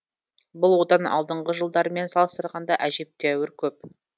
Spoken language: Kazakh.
бұл одан алдыңғы жылдармен салыстырғанда әжептеуір көп